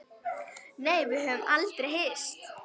Nei, við höfum aldrei hist.